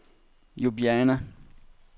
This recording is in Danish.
Ljubljana